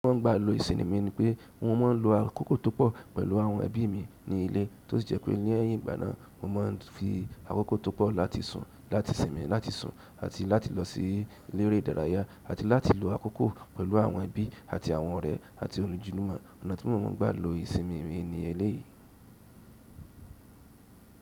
Mo máa ń gbà lo ìsinmi mi ni pẹ́, mo máa ń lo àkókò tó pọ̀ pẹ̀lú àwọn ẹbí mi ní ilé tó sì jẹ́ pé ní ẹ̀yìn ìgbà náà mo máa ń fi àkókò tó pọ̀ láti sùn, láti sinmi, láti sùn àti láti lọ sí elere ìdárayá àti láti lo àkókò pẹ̀lú àwọn ẹbí àti àwọn ọ̀rẹ́ àti ojulúmọ̀. Ọ̀nà tí mo máa ń gbà lo ìsinmi mi ni eléyìí.